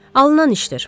Alınan işdir.